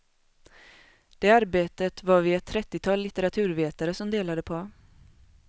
Det arbetet var vi ett trettital litteraturvetare som delade på.